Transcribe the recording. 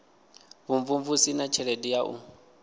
vhumvumvusi na tshelede ya u